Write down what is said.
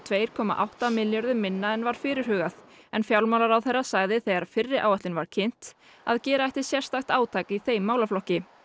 tvær komma átta milljörðum minna en var fyrirhugað en fjármálaráðherra sagði þegar fyrri áætlun var kynnt að gera ætti sérstakt átak í þeim málaflokki